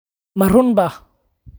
Ma runbaa?